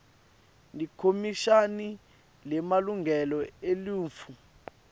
likhomishani lemalungelo eluntfu